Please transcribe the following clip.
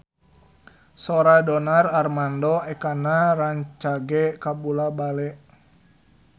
Sora Donar Armando Ekana rancage kabula-bale